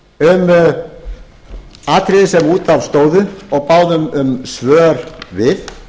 um atriði sem út af stóðu og báðum um svör við